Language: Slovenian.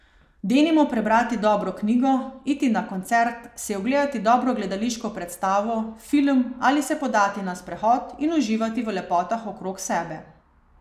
Denimo prebrati dobro knjigo, iti na koncert, si ogledati dobro gledališko predstavo, film ali se podati na sprehod in uživati v lepotah okrog sebe.